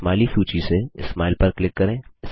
smiley सूची से smile पर क्लिक करें